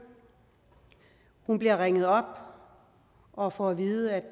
hun bliver ringet op og får at vide at